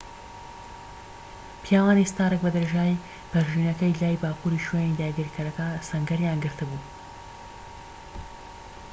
پیاوانی ستارک بە درێژایی پەرژینەکەی لای باکووری شوێنی داگیرکەرەکە سەنگەریان گرت بوو